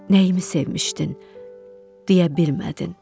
Nəyimi sevmişdin, deyə bilmədin.